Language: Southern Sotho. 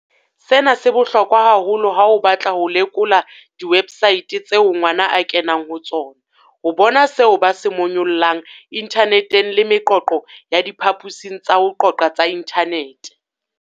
Sena se bohlokwa haholo ha o batla ho lekola diwebsaete tseo ngwana a kenang ho tsona, ho bona seo ba se monyollang inthaneteng le meqoqo ya diphaposing tsa ho qoqa tsa inthanete.